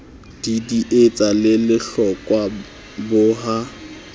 didietsa le lehlokwa bo ha